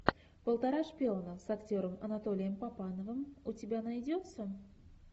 полтора шпиона с актером анатолием папановым у тебя найдется